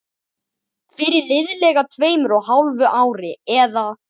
Fyrir liðlega tveimur og hálfu ári, eða